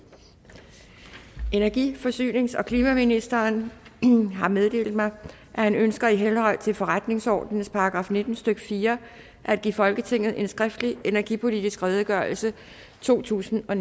energi forsynings og klimaministeren har meddelt mig at han ønsker i henhold til forretningsordenens § nitten stykke fire at give folketinget en skriftlig energipolitisk redegørelse totusinde og